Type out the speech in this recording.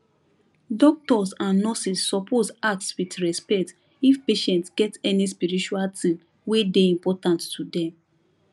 doctors and nurses suppose ask with respect if patient get any spiritual thing wey dey important to them